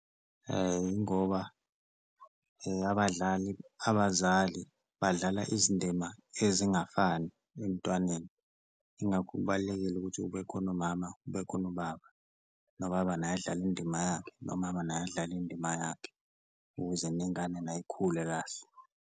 Ingoba abadlali abazali badlala izindima ezingafani emntwaneni ingakho kubalulekile ukuthi kube khona umama kube khona ubaba, nobaba naye adlale indima yakhe nomama naye adlale indima yakhe, ukuze nengane nayo ikhule kahle.